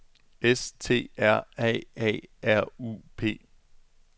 S T R A A R U P